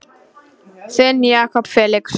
Þinn Jakob Felix.